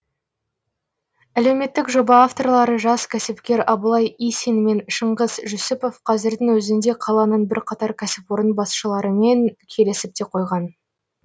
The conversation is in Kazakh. әлеуметтік жоба авторлары жас кәсіпкер абылай исин мен шыңғыс жүсіпов қазірдің өзінде қаланың бірқатар кәсіпорын басшыларымен келісіп те қойған